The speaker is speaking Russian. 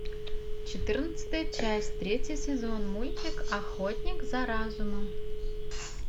четырнадцатая часть третий сезон мультик охотник за разумом